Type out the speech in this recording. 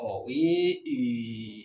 Ɔ o ye ee